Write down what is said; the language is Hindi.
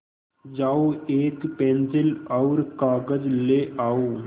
जाओ एक पेन्सिल और कागज़ ले आओ